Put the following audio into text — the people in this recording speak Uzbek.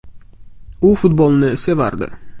U futbolni sevardi.